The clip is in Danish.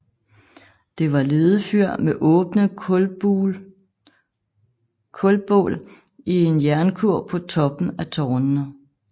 Det var ledefyr med åbne kulbål i en jernkurv på toppen af tårnene